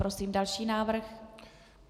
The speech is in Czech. Prosím další návrh.